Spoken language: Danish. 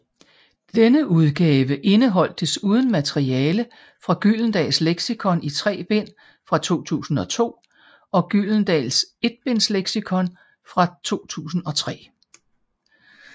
Denne udgave indeholdt desuden materiale fra Gyldendals Leksikon i tre bind fra 2002 og Gyldendals Etbindsleksikon fra 2003